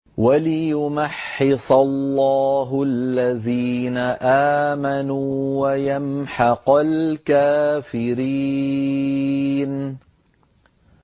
وَلِيُمَحِّصَ اللَّهُ الَّذِينَ آمَنُوا وَيَمْحَقَ الْكَافِرِينَ